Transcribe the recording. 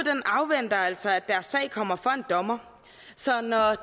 afventer altså at deres sag kommer for en dommer så når